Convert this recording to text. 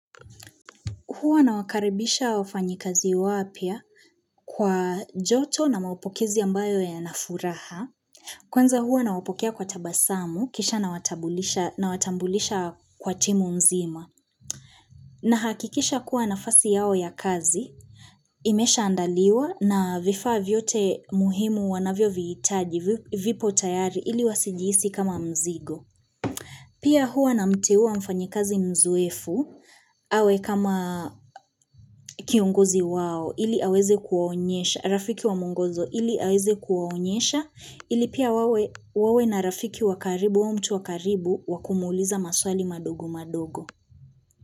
Huwa na wakaribisha wafanyikazi wapya kwa joto na maapokizi ambayo yanafuraha. Kwanza huwa nawapokia kwa tabasamu, kisha nawatambulisha kwa timu mzima. Na hakikisha kuwa nafasi yao ya kazi, imesha andaliwa na vifaa vyote muhimu wanavyo viitaji vipo tayari ili wasijiisi kama mzigo. Pia huwa na mteuwa mfanyekazi mzoefu, awe kama kiongozi wao ili aweze kuwaonyesha, rafiki wa mungozo ili aweze kuwaonyesha, ili pia wawe na rafiki wa karibu au mtu wa karibu wakumuuliza maswali madogo madogo.